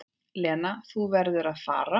Lena, þú verður að fara!